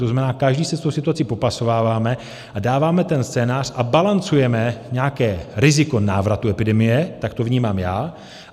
To znamená, každý se s tou situací popasováváme a dáváme ten scénář a balancujeme nějaké riziko návratu epidemie, tak to vnímám já.